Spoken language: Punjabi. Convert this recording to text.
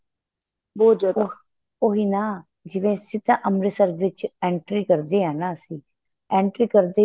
ਬਹੁਤ ਜਿਆਦਾ ਉਹੀ ਨਾ ਜਿਵੇਂ ਸਿੱਧਾ ਅਮ੍ਰਿਤਸਰ ਵਿੱਚ entry ਕਰਦਿਆਂ ਹਾਂ ਅਸੀਂ entry ਕਰਦਿਆ